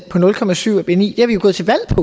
en i